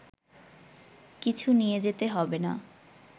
কিছু নিয়ে যেতে হবে না